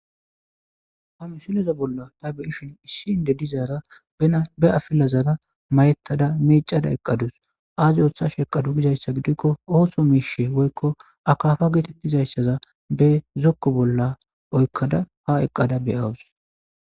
ha misileza bolla ta beyishin issi inde dizaara ena be afilazara mayettada miicada eqqadus aazi ootha sheqadu gizayssa gidikko ooso miishe woykko akafa geetettizayssaza be zokko bolla oykkada ha eqqada beyawus